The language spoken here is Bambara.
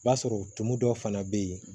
I b'a sɔrɔ tumu dɔ fana bɛ yen